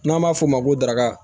N'an b'a f'o ma ko daraka